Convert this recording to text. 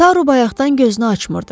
Taru bayaqdan gözünü açmırdı.